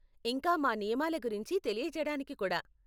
ఇంకా మా నియమాల గురించి తెలియజేయటానికి కూడా.